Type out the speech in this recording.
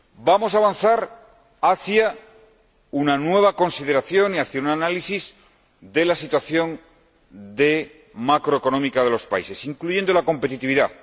Vamos a avanzar hacia una nueva consideración y hacia un análisis de la situación macroeconómica de los países, incluyendo la competitividad.